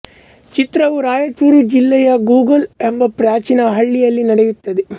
ಚಿತ್ರವು ರಾಯಚೂರು ಜಿಲ್ಲೆಯ ಗೂಗಲ್ ಎಂಬ ಪ್ರಾಚೀನ ಹಳ್ಳಿಯಲ್ಲಿ ನಡೆಯುತ್ತದೆ